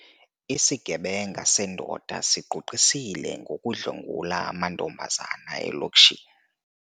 Isigebenga sendoda sigqugqisile ngokudlwengula amantombazana elokishini.